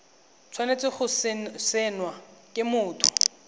tshwanetse go saenwa ke motho